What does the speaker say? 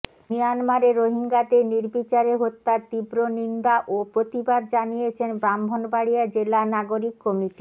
মিয়ানমারে রোহিঙ্গাদের নির্বিচারে হত্যার তীব্র নিন্দা ও প্রতিবাদ জানিয়েছেন ব্রাহ্মণবাড়িয়া জেলা নাগরিক কমিটি